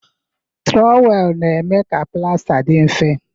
Trowelu na-eme ka plasta dị mfe.